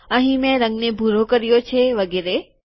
અહીં મેં રંગને ભૂરો કર્યો છે વગેરે